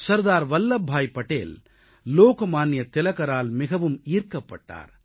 சர்தார் வல்லப்பாய் படேல் லோகமான்ய திலகரால் மிகவும் ஈர்க்கப்பட்டார்